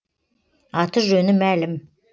аты жөні мәлім